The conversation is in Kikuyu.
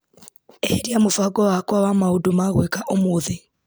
Eheria mũbango wakwa wa maũndũ ma gwĩka ũmũthĩ .